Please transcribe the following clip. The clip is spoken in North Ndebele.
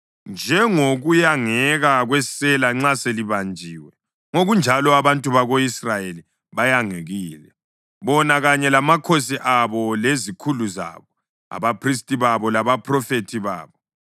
Njengokuyangeka kwesela nxa selibanjiwe, ngokunjalo abantu bako-Israyeli bayangekile, bona kanye lamakhosi abo lezikhulu zabo, abaphristi babo labaphrofethi babo.